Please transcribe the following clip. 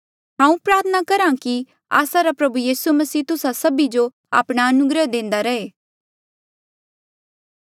हांऊँ प्रार्थना करहा कि आस्सा रा प्रभु यीसू मसीह तुस्सा सभी जो आपणा अनुग्रह देंदा रहे